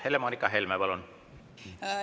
Helle-Moonika Helme, palun!